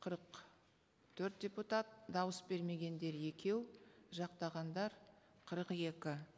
қырық төрт депутат дауыс бермегендер екеу жақтағандар қырық екі